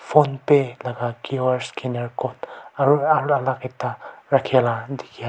phone pay la qr scanner aro alak ekta ralhila dikhiase.